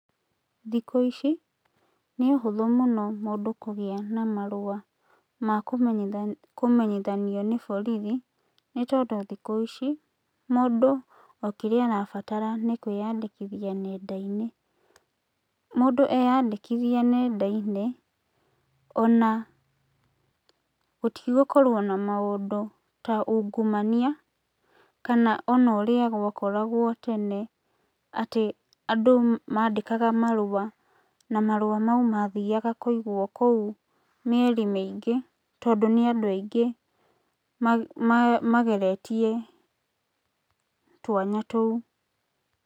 Thikũ ici, nĩ ũhũthũ mũno mũndũ kũgĩa na marũa ma kũmenyithanio nĩ borithi, nĩtondũ thikũ ici mũndũ o kĩrĩa arabatara nĩ kwĩyandĩkithia nenda-inĩ. Mũndũ eyandĩkithia nenda-inĩ, ona gũtigũkorwo na maũndũ ta ungumania kana ona ũrĩa gwakoragwo tene atĩ andũ mandĩkaga marũa na marũa mau mathiaga kũigwo kũu mĩeri mĩingĩ tondũ nĩ andũ aingĩ mageretie twanya tũu.